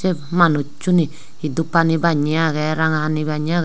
ep manuchuney he dup hani bannye agey ranga hani bannye agey.